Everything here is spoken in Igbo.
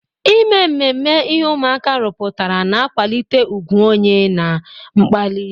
Ime mmemme ihe ụmụaka rụpụtara na-akwalite ùgwù onye na mkpali.